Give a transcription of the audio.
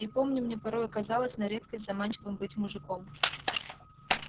и помню мне порою казалось на редкость заманчивым быть мужиком